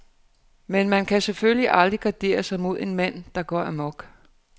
Men man kan selvfølgelig aldrig gardere sig imod en mand, der går amok.